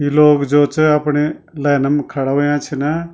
यि लोग जु च अपणी लैनम खड़ा हुया छिन।